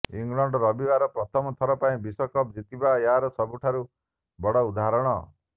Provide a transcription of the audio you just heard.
England ରବିବାର ପ୍ରଥମ ଥର ପାଇଁ ବିଶ୍ବକପ୍ ଜିତିବା ଏହାର ସବୁଠାରୁ ବଡ଼ ଉଦାହରଣ